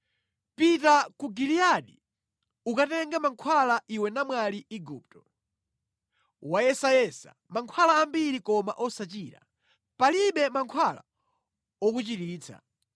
“Pita ku Giliyadi ukatenge mankhwala iwe namwali Igupto. Wayesayesa mankhwala ambiri koma osachira; palibe mankhwala okuchiritsa.